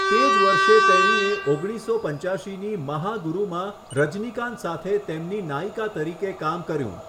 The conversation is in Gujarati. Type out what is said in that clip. તે જ વર્ષે તેણીએ ઓગણીસસો પંચ્યાશીની 'મહાગુરુ' માં રજનીકાંત સાથે તેમની નાયિકા તરીકે કામ કર્યું.